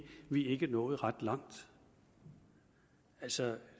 vi ikke er nået ret langt altså